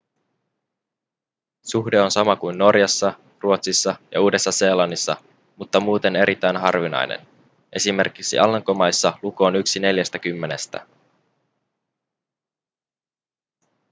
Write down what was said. suhde on sama kuin norjassa ruotsissa ja uudessa-seelannissa mutta muuten erittäin harvinainen esim. alankomaissa luku on yksi neljästäkymmenestä